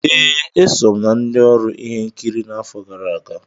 Ee, e so m na ndị ọrụ ihe nkiri n'afọ gara aga.